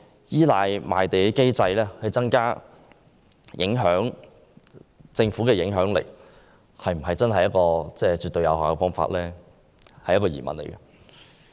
依賴賣地機制來增加政府的影響力是否一個絕對有效的方法，令人質疑。